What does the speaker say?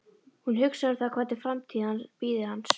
Hún hugsar um það hvernig framtíð bíði hans.